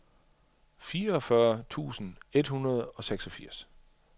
fireogfyrre tusind et hundrede og seksogfirs